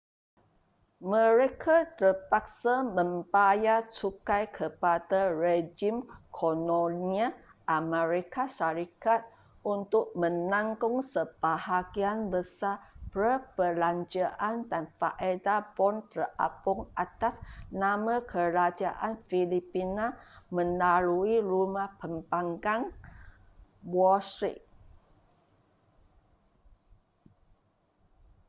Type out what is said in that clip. mereka terpaksa membayar cukai kepada rejim kolonial amerika syarikat untuk menanggung sebahagian besar perbelanjaan dan faedah bon terapung atas nama kerajaan filipina melalui rumah pembankan wall street